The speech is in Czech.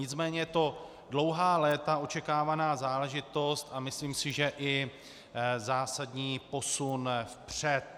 Nicméně je to dlouhá léta očekávaná záležitost a myslím si, že i zásadní posun vpřed.